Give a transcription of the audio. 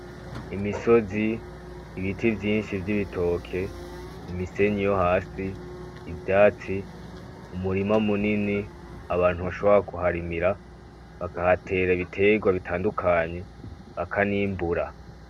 Imisozi, ibiti vyinshi vy'ibitoke, imisenyi yo hasi, ivyatsi, umurima munini abantu bashobora kuharimira ibiterwa bitandukanye bakanimbura.